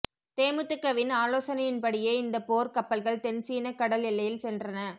தேமுதிகவின் ஆலோசனையின் படியே இந்த போர் கப்பல்கள் தென் சீனக் கடல் எல்லையில் சென்றன